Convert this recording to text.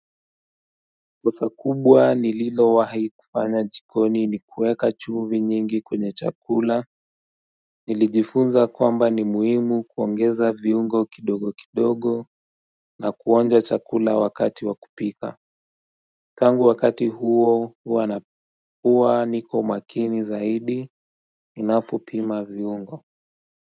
Kosa kubwa nililowahi kufanya jikoni ni kuweka chumvi nyingi kwenye chakula. Nilijifunza kwamba ni muhimu kuongeza viungo kidogo kidogo na kuonja chakula wakati wa kupika tangu wakati huo huwa niko makini zaidi ninapopima viungo.